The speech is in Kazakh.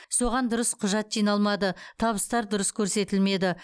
соған дұрыс құжат жиналмады табыстар дұрыс көрсетілмеді